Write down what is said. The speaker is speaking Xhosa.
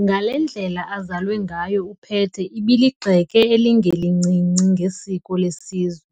Ngale ndlela azalwe ngayo uPete ibeligxeke elingelincinci ngesiko lesizwe,